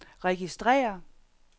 registrér